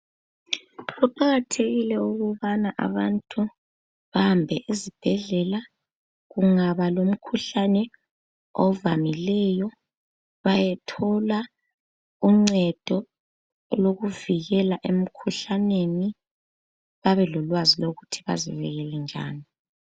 kuqakathekile ukubana abantu bahambe ezibhedlela kungaba lomkhuhlane ovamileyo bayethola uncedo olokuvikela emkhuhlaneni babelolwazi lokuthi bazekelele njani